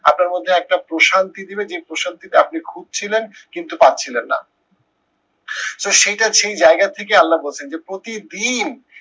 আপনার মধ্যে একটা প্রশান্তি দেবে যে প্রশান্তিটা আপনি খুঁজছিলেন, কিন্তু পাচ্ছিলেন না। তো সেইটা সেই জায়গার থেকে আল্লা বলছে যে প্রতিদিন